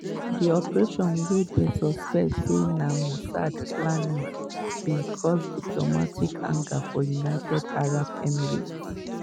di operation wey dem suspect say na mossad plan am bin cause diplomatic anger from united arab emirates.